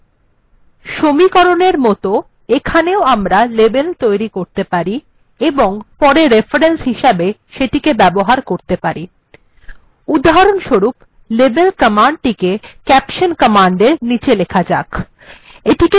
সমীকরণ এর মত এখানে ও আমরা label তৈরী করতে পারি এবং পরে reference হিসাবে সেটিকে ব্যবহার করতে পারি উদাহরণস্বরূপ এই কমান্ড টিকে caption কমান্ড এর নীচে লেখা যাক